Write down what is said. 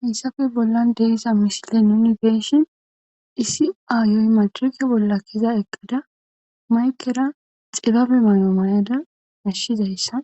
hayssafe bollan de'iza misile nuni be'eshin isi ayoy madirke bolla kiza eqqada maykera xibabe mayo mayada nashshizayssa